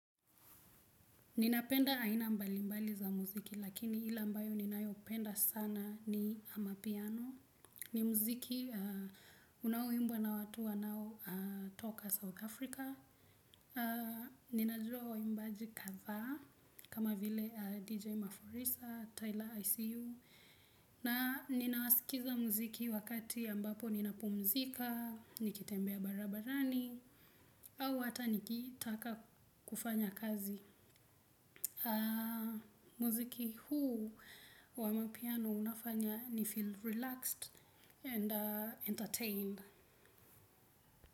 Ninapenda aina mbalimbali za muziki lakini ila mbayo ninayopenda sana ni amapiano. Ni muziki unauimbwa na watu wanao toka South Africa. Ninajua waimbaji katha kama vile DJ Mafurisa, Tyler ICU. Na ninawasikiza muziki wakati ambapo nina pumzika, nikitembea barabarani. Au hata nikitaka kufanya kazi. Muziki huu wa amapiano unafanya ni feel relaxed and entertained.